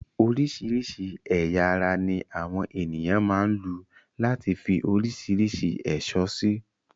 Oríṣìíríṣìí ẹ̀yà ara ní àwọn ènìyàn máa ń lu láti fi oríṣìíríṣìí ẹ̀ṣọ́ sí.